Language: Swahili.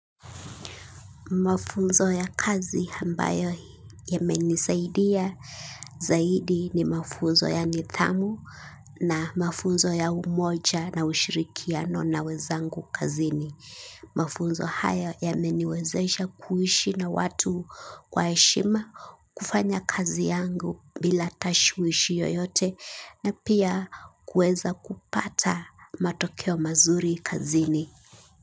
Mafunzo ya kazi ambayo yamenisaidia, zaidi ni mafunzo ya nithamu na mafunzo ya umoja na ushirikiano na wenzangu kazini. Mafunzo hayo yameniwezesha kuishi na watu kwa heshima kufanya kazi yangu bila tashwishi yoyote na pia kuweza kupata matokeo mazuri kazini.